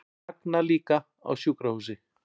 Sagna líka á sjúkrahúsi